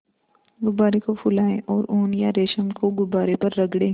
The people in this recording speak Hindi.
गुब्बारे को फुलाएँ और ऊन या रेशम को गुब्बारे पर रगड़ें